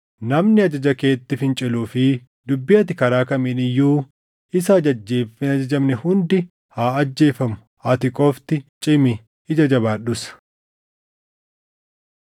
Namni ajaja keetti finciluu fi dubbii ati karaa kamiin iyyuu isa ajajjeef hin ajajamne hundi haa ajjeefamu. Ati qofti cimi; ija jabaadhus!”